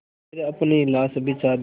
फिर अपनी लाश बिछा दी